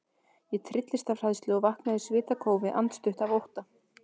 Ég trylltist af hræðslu og vaknaði í svitakófi, andstutt af ótta.